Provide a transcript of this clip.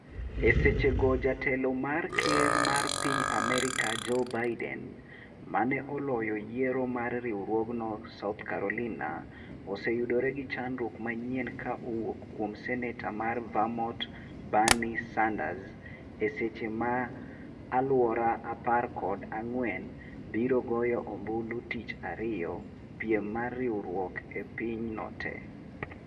e seche go jatelo mar ker mar Piny Amerka Joe Biden, ma ne oloyo yiero mar riwruogno South Carolina, oseyudore gi chandruok manyien ka owuok kuom senetor mar Vermont Bernie Sanders e seche ma alwora apar koda ng'wen biro goyo ombulu tich ariyo piem mar riwruok e pinyno te